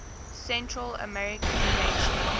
central american nations